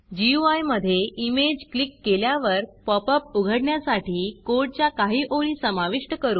गुई मधे image click केल्यावर pop up उघडण्यासाठी कोडच्या काही ओळी समाविष्ट करू